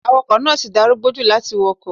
Awakọ̀ náà ti darúgbó jù láti wakọ̀.